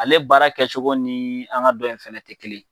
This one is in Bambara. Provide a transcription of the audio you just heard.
Ale baara kɛ cogo nii an ka dɔ in fɛnɛ te kelen ye